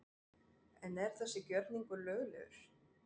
En er þessi gjörningur löglegur?